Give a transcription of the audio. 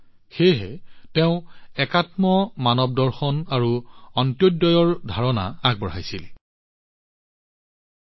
সেয়েহে তেওঁ একাত্মমানৱদৰ্শন আৰু অন্ত্যোদয়ৰ এটা ধাৰণা দেশলৈ আগবঢ়াইছিল যিটো সম্পূৰ্ণ ভাৰতীয় আছিল